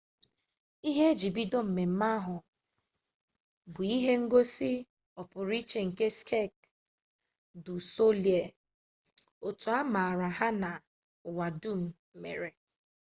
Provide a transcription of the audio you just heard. ihe e ji bido mmemme bụ ihe ngosi ọpụrụiche nke sek du solei otu a maara aha ha n'ụwa dum mere